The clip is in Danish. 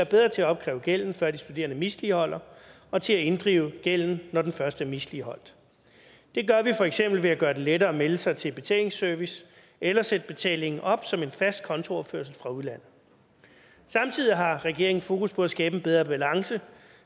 bedre til at opkræve gælden før de studerende misligholder og til at inddrive gælden når den først er misligholdt det gør vi for eksempel ved at gøre det lettere at melde sig til betalingsservice eller sætte betalingen op som en fast kontooverførsel fra udlandet samtidig har regeringen fokus på at skabe bedre balance